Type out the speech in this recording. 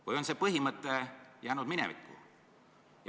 Või on see põhimõte jäänud minevikku?